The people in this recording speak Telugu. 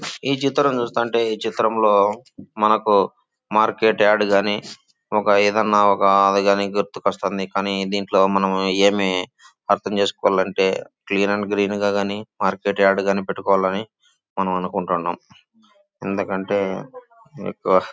ఈ చిత్రం చూస్తుంటే ఈ చిత్రంలో మనకు మార్కెట్ యాడ్ గాని ఒక ఏదైనా ఒక అది గానీ గుర్తుకొస్తుంది. కానీ దీంట్లో మనం ఏమి అర్థం చేసుకోవాలంటే క్లీన్ అండ్ గ్రీన్ గా గానీ మార్కెట్ యాడ్ గానీ పెట్టుకోవాలని మనం అనుకుంటున్నాం. ఎందుకంటే ఎక్కువ --